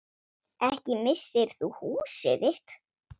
Ekki missir þú húsið þitt.